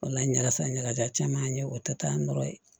O la ɲagasa ɲagajalan caman ye o tɛ taa nɔ ye